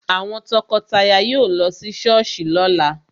Àwọn tọkọtaya yóò lọ sí Sọ́ọ̀sì lóla